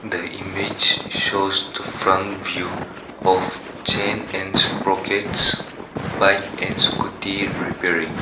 the image shows the front view of chain and sprockets bike and scooty repairing.